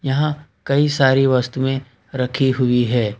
यहाँ कई सारी वस्तुएं रखी हुई है।